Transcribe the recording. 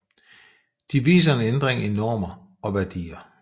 De viser en ændring i normer og værdier